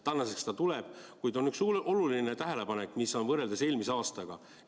Tänaseks ta tuleb, kuid on üks oluline tähelepanek võrreldes eelmise aastaga.